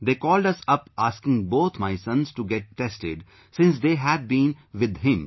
They called us up asking both my sons to get tested since they had been with him